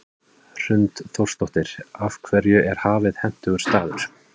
Hrund Þórsdóttir: Af hverju er Hafið hentugur staður?